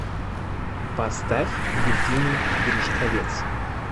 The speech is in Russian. поставь евгений гришковец